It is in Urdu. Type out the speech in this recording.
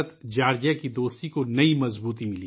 جارجیا دوستی کو نئی قوت عطا کی